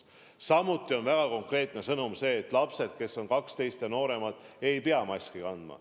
Samuti on väga konkreetne sõnum see, et lapsed, kes on 12 või nooremad, ei pea maski kandma.